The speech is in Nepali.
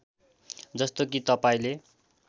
जस्तो कि तपाईँले